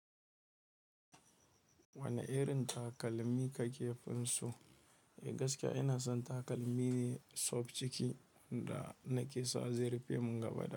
Wane irin takalmi ka ke fin so? Eh, gaskiya ina son takalmi ne soft ciki da nake sa zai rufee mun gaba ɗaya.